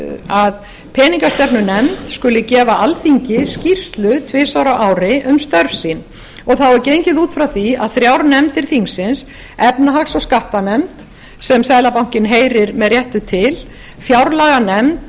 að peningastefnunefnd skuli gefa alþingi skýrslu tvisvar á ári um störf sín og þá er gengið út frá því að þrjár nefndir þingsins efnahags og skattanefnd sem seðlabankinn heyrir með réttu til fjárlaganefnd